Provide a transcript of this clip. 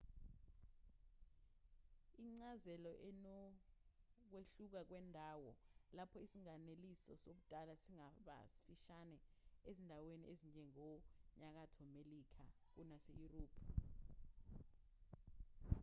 incazelo inokwehluka kwendawo lapho isilinganiso sobudala singaba sifishane ezindaweni ezinjengasenyakatho melika kunaseyurophu